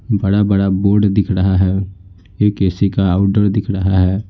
बड़ा बड़ा बोर्ड दिख रहा है एक ए_सी का आउटडोर दिख रहा है।